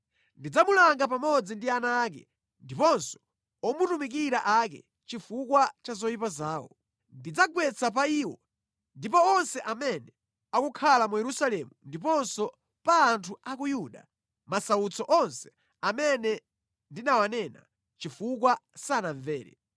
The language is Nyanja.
Ndidzamulanga pamodzi ndi ana ake ndiponso omutumikira ake chifukwa cha zoyipa zawo; ndidzagwetsa pa iwo ndi pa onse amene akukhala mu Yerusalemu ndiponso pa anthu a ku Yuda masautso onse amene ndinawanena, chifukwa sanamvere.”